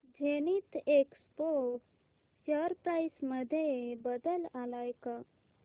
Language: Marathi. झेनिथएक्सपो शेअर प्राइस मध्ये बदल आलाय का